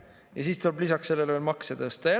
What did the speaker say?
Ja siis tuleb lisaks sellele veel makse tõsta.